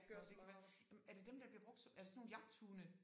Nå det kan være. Jamen er det dem der bliver brugt som er det sådan nogle jagthunde